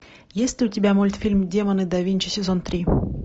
есть ли у тебя мультфильм демоны да винчи сезон три